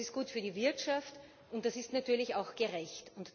Das ist gut für die Wirtschaft, und das ist natürlich auch gerecht.